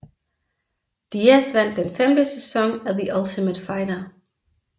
Diaz vandt den femte sæson af The Ultimate Fighter